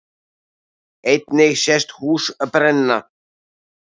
Einnig sést hús brenna